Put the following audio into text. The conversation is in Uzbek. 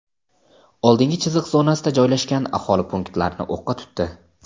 oldingi chiziq zonasida joylashgan aholi punktlarini o‘qqa tutdi.